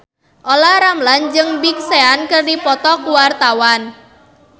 Olla Ramlan jeung Big Sean keur dipoto ku wartawan